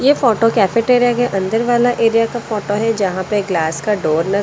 ये photo cafeteria के अंदर वाला एरिया का फोटो है जहां पे ग्लास का डोर --